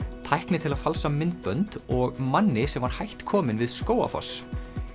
tækni til að falsa myndbönd og manni sem var hætt kominn við Skógarfoss